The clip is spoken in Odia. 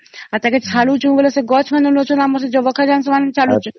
ଆଉ ତାକୁ ଛାଡୁଛେ ତ ସେ ଗଛ ମାନେ ନେଉଚନ୍ତି ଆମର ସେ ଜବଖାରଜନ ସେମାନେ ଛାଡୁଛୁ